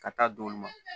Ka taa d'olu ma